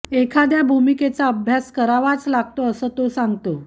एखाद्या भूमिकेचा अभ्यास करावाच लागतो असं तो सांगतो